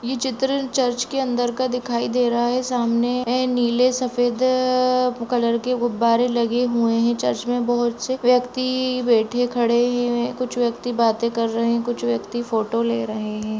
ये चित्र चर्च के अंदर दिखाई दे रहा है सामने अ नीले सफेद कलर के गुब्बारे लगे हुए हैं चर्च में बहुत से व्यक्ति बैठे खड़े हुए हैं और बैठे हुए कुछ व्यक्ति बाते कर रहे हैं कुछ व्यक्ति फोटो ले रहे हैं।